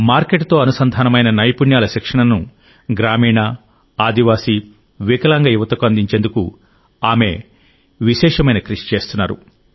market తో అనుసంధానమైన నైపుణ్యాల శిక్షణను గ్రామీణ గిరిజన వికలాంగ యువతకు అందించేందుకు ఆమె విశేషమైన కృషి చేస్తున్నారు